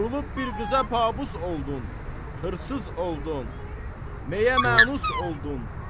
Vurulub bir qıza pabus oldun, xırsız oldun, məyə manus oldun.